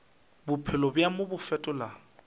bophelo bja mo bo fetola